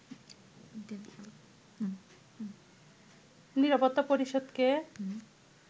নিরাপত্তা পরিষদকে